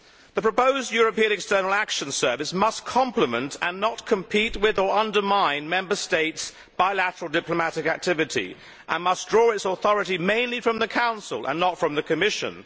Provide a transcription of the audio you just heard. The proposed European External Action Service must complement and not compete with or undermine Member States' bilateral diplomatic activity and must draw its authority mainly from the Council and not from the Commission.